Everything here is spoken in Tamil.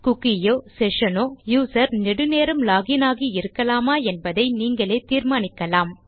குக்கி யோ செஷன் னோ யூசர் நெடு நேரம் லாக் இன் ஆகி இருக்கலாமா என்பதை நீங்களே தீர்மானிக்கலாம்